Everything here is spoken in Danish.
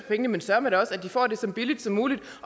pengene men søreme da også at de får det så billigt som muligt